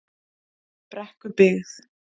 Brekkubyggð